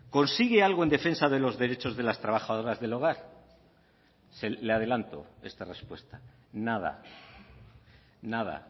consigue algo en defensa de los derechos de las trabajadoras del hogar le adelanto esta respuesta nada nada